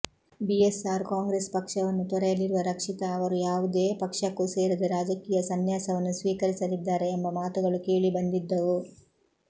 BSR Congress ಪಕ್ಷವನ್ನು ತೊರೆಯಲಿರುವ ರಕ್ಷಿತಾ ಅವರು ಯಾವುದೇ ಪಕ್ಷಕ್ಕೂ ಸೇರದೆ ರಾಜಕೀಯ ಸನ್ಯಾಸವನ್ನು ಸ್ವೀಕರಿಸಲಿದ್ದಾರೆ ಎಂಬ ಮಾತುಗಳು ಕೇಳಿಬಂದಿದ್ದವು